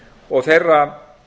og þeirra